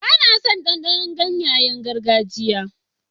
Ba na son ɗanɗanon ganyayen gargajiya.